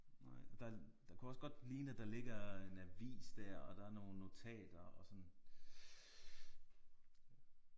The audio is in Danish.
Der der kunne også godt ligne at der ligger en avis der og der er nogle notater og sådan